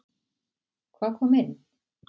Hvað kom inn?